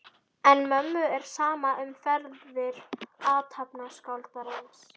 En mömmu er sama um ferðir athafnaskáldsins.